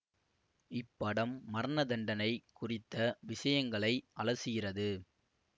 இப்படம் மரணதண்டனை குறித்த விஷயங்களை அலசுகிறது